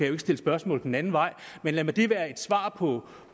ikke stille spørgsmål den anden vej men lad det være et svar på